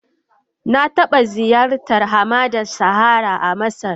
Na taba ziyartar hamadar Sahara a Masar.